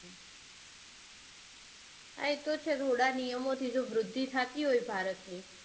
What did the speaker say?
હા એતો છે જો થોડા નિયમોથી જો વૃદ્ધિ થતી હોય ભારતની